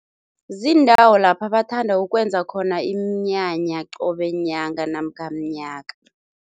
Ziindawo lapha bathanda ukwenza khona iminyanya qobe nyanga namkha mnyaka.